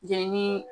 Jenini